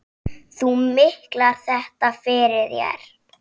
Þú miklar þetta fyrir þér.